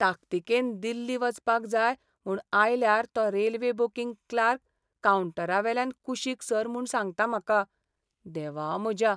ताकतिकेन दिल्ली वचपाक जाय म्हूण आयल्यार तो रेल्वे बुकिंग क्लार्क कावंटरावेल्यान कुशीक सर म्हूण सांगता म्हाका. देवा म्हज्या!